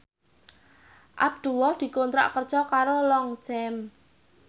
Abdullah dikontrak kerja karo Longchamp